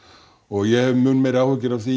og ég hef áhyggjur af því